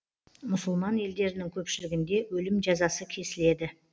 мұсылман елдерінің көпшілігінде өлім жазасы кесіледі